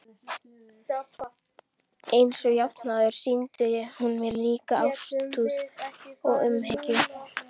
Einsog jafnan áður sýndi hún mér ríka ástúð og umhyggju.